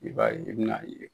I b'a ye i bɛna